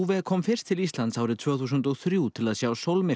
kom fyrst til Íslands árið tvö þúsund og þrjú til að sjá